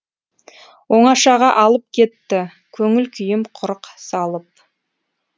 оңашаға алып кетті көңіл күйім құрық салып